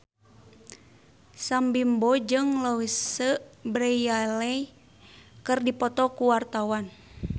Sam Bimbo jeung Louise Brealey keur dipoto ku wartawan